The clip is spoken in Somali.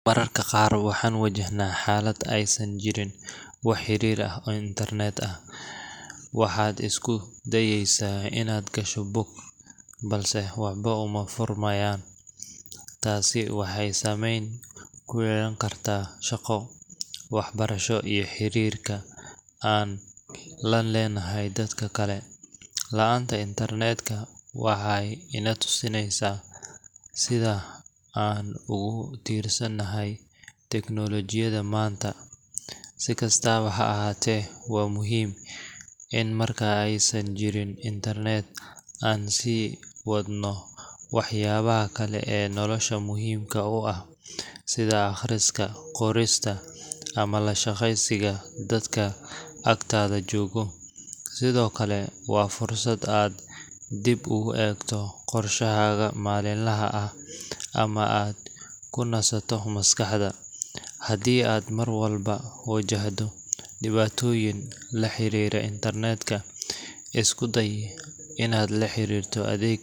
Mararka qaar waxaan wajahnaa xaalad aysan jirin wax xiriir ah oo internet ah. Waxaad isku dayaysaa inaad gasho bog, balse waxba uma furmayaan. Tani waxay saameyn ku yeelan kartaa shaqo, waxbarasho iyo xiriirka aan la leenahay dadka kale. La’aanta internet-ka waxay ina tusinaysaa sida aan ugu tiirsanahay tignoolajiyada maanta. Si kastaba ha ahaatee, waa muhiim in marka aysan jirin internet aan sii wadno waxyaabaha kale ee nolosha muhiimka u ah sida akhriska, qorista, ama la sheekaysiga dadka agtaada jooga. Sidoo kale, waa fursad aad dib ugu eegto qorshahaaga maalinlaha ah ama aad ku nasato maskaxda. Haddii aad mar walba wajahdo dhibaatooyin la xiriira internet-ka, isku day inaad la xiriirto adeeg